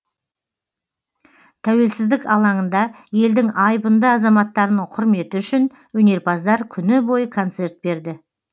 тәуелсіздік алаңында елдің айбынды азаматтарының құрметі үшін өнерпаздар күні бойы концерт берді